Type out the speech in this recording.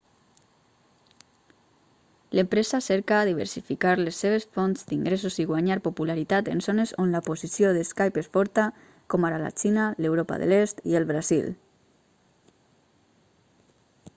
l'empresa cerca diversificar les seves fonts d'ingressos i guanyar popularitat en zones on la posició de skype és forta com ara la xina l'europa de l'est i el brasil